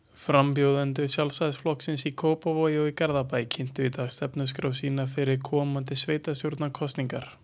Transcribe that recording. Frambjóðendur Sjálfstæðisflokksins í Kópavogi og Garðabæ kynntu í dag stefnuskrár sínar fyrir komandi sveitastjórnarkosningar.